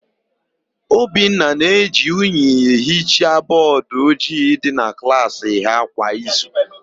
Obinna na-eji unyi ehicha bọọdụ ojii dị na klaasị ha kwa izu.